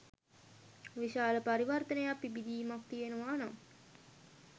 විශාල පරිවර්තනයක් පිබිදීමක් තියෙනවා නම්.